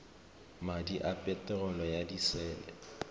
madi a peterolo ya disele